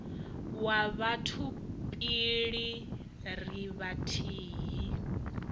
wa batho pele ri vhathihi